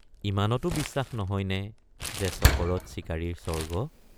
ইমানতো বিশ্বাস নহয় নে যে চকৰদ চিকাৰীৰ স্বৰ্গ?